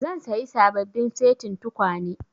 Zan sayi sababbin setin tukwane